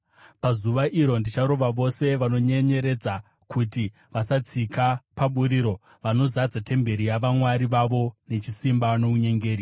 Pazuva iro ndicharanga vose vanonyenyeredza kuti vasatsika paburiro, vanozadza temberi yavamwari vavo nechisimba nounyengeri.